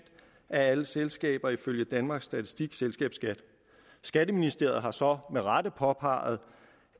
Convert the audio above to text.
af alle selskaber ifølge danmarks statistik selskabsskatten skatteministeriet har så med rette påpeget